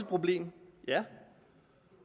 problem ja